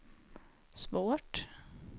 svårt